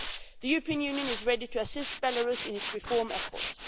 The European Union is ready to assist Belarus in its reform efforts.